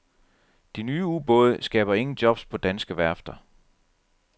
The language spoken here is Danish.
De nye ubåde skaber ingen jobs på danske værfter.